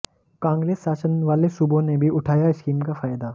कांग्रेस शासन वाले सूबों ने भी उठाया स्कीम का फायदा